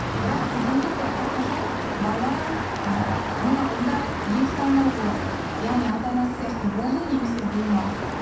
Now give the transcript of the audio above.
бірақ дегенмен де әрқашан бала ы алдында екі таңдау болады яғни ата анасы сияқты болу немесе болмау